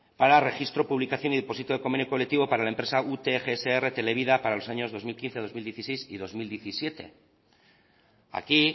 para registro publicación y depósito de convenio colectivo para la empresa ute gsr televida para los años dos mil quince dos mil dieciséis y dos mil diecisiete aquí